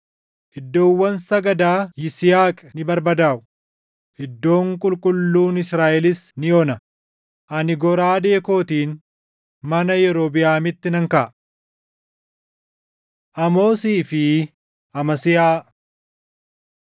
“Iddoowwan sagadaa Yisihaaq ni barbadaaʼu; iddoon qulqulluun Israaʼelis ni ona; ani goraadee kootiin mana Yerobiʼaamitti nan kaʼa.” Amoosii fi Amasiyaa